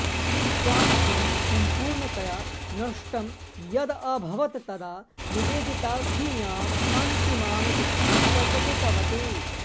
स्वास्थ्यं सम्पूर्णतया नष्टं यद अभवत् तदा निवेदिता स्वीयाम् अन्तिमाम् इच्छां प्रकटितवती